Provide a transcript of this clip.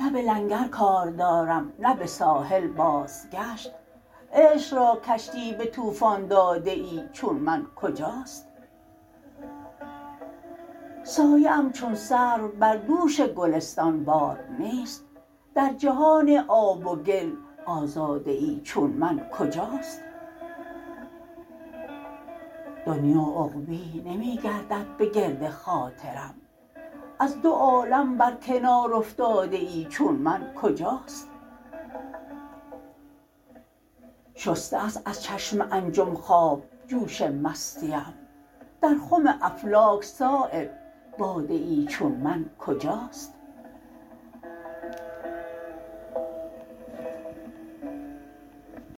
نه به لنگر کار دارم نه به ساحل بازگشت عشق را کشتی به طوفان داده ای چون من کجاست سایه ام چون سرو بر دوش گلستان بار نیست در جهان آب و گل آزاده ای چون من کجاست دنیی و عقبی نمی گردد به گرد خاطرم از دو عالم بر کنار افتاده ای چون من کجاست شسته است از چشم انجم خواب جوش مستیم در خم افلاک صایب باده ای چون من کجاست